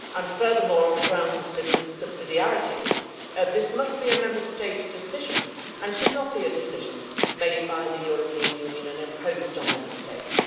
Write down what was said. Furthermore, on the grounds of subsidiarity, this must be a Member State decision and should not be a decision made by the European Union and imposed on Member States.